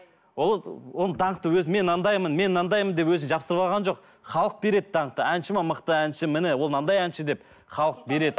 ол ы оны даңқты өзі мен андаймын мен мынандай деп өзі жабыстырып алған жоқ халық береді даңқты әнші ме мықты әнші міне ол мынандай әнші деп халық береді